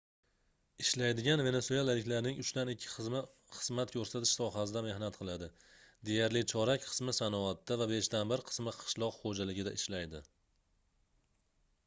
ishlaydigan venesuelaliklarning uchdan ikki qismi xizmat koʻrsatish sohasida mehnat qiladi deyarli chorak qismi sanoatda va beshdan bir qismi qishloq xoʻjaligida ishlaydi